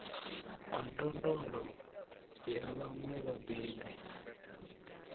ha ndondolo ya vhaṅwe vhabebi